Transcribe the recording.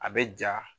A bɛ ja